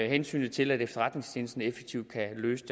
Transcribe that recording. hensynet til at efterretningstjenesten effektivt kan løse